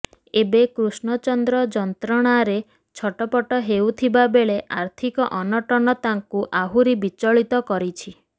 ଏବେ କୃଷ୍ଣଚନ୍ଦ୍ର ଯନ୍ତ୍ରଣାରେ ଛଟପଟ ହେଉଥିବା ବେଳେ ଆର୍ଥିକ ଅନଟନ ତାଙ୍କୁ ଆହୁରି ବିଚଳିତ କରିଛି